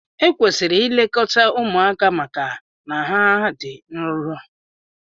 Ekwesịrị ilekọta ụmụaka maka na ha dị nrọ.